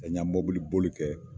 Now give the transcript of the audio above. An y'a mobiliboli kɛ